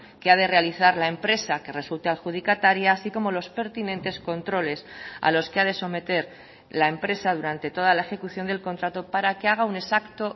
que ha de realizar la empresa que resulte adjudicataria así como los pertinentes controles a los que ha de someter la empresa durante toda la ejecución del contrato para que haga un exacto